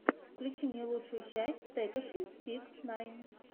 включи мне лучшую часть текаши сикс найн